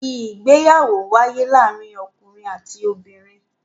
Ìgbéyàwó ń wáyé láàárín ọkùnrin àti obìnrin.